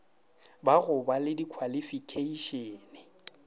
ba go ba le dikhwalifikheišene